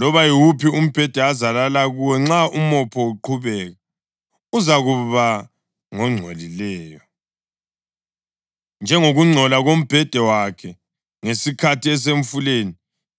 Loba yiwuphi umbheda azalala kuwo nxa umopho uqhubeka, uzakuba ngongcolileyo, njengokungcola kombheda wakhe ngesikhathi esemfuleni,